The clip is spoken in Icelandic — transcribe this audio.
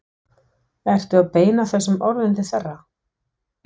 Ertu að beina þessum orðum til þeirra?